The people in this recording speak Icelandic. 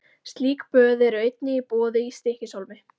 Slík böð eru einnig í boði í Stykkishólmi.